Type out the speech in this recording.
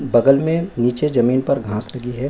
बगल में नीचे जमीन पर घास लगी है।